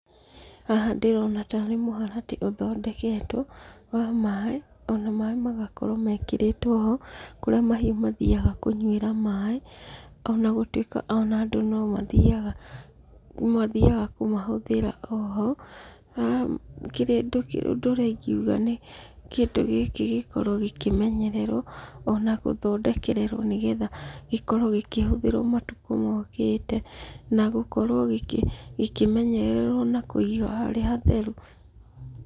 Haha ndĩrona tarĩ mũharatĩ ũthondeketwo wa maaĩ, ona maaĩ magakorwo mekĩrĩtwo ho, kũrĩa mahiũ mathiaga kũnyuĩra maaĩ, onagũtuĩka onaandũ no mathiaga kũmahũthĩra oho. Haha ũndũ ũrĩa ingiuga nĩ kĩndũ gĩkĩ kĩmenyererwo ona gũthondekererwo nĩgetha gĩkorwo gĩgĩtũmĩrwo matukũ mokĩte. Na gũkorwo gĩkĩmenyererwo na kũiga hehatheru,.